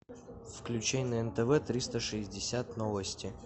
включай на нтв триста шестьдесят новости